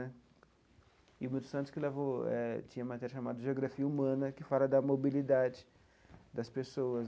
E o Milton Santos que levou eh tinha uma matéria chamada Geografia Humana, que fala da mobilidade das pessoas.